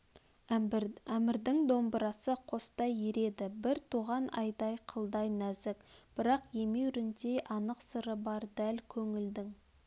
әмірдің домбырасы қостай ереді бір туған айдай қылдай нәзік бірақ емеуріндей анық сыры бар дәл көңілдің